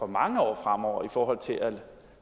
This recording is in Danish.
mange år fremover i forhold til at